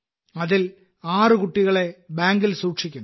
അതിൽ 6 കുട്ടികളെ ബാങ്കിൽ സൂക്ഷിക്കുന്നു